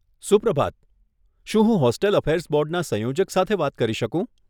સુપ્રભાત. શું હું hostel affairs બોર્ડના સંયોજક સાથે વાત કરી શકું?